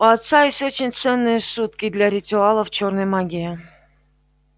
у отца есть очень ценные шутки для ритуалов чёрной магии